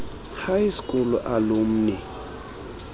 high school alumni